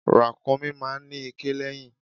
Ràkúnmí máa ń ní iké lẹ́yìn.